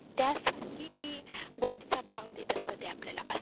त्या साठी ती गोष्टींना भाव देत असतात ते आपल्याला.